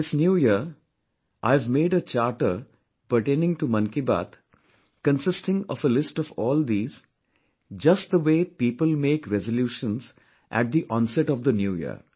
This new year, I have made a Charter pertaining to Mann Ki Baat, consisting of a list of all these, just the way people make resolutions at the onset of the New Year